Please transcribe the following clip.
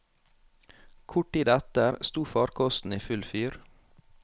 Kort tid etter sto farkosten i full fyr.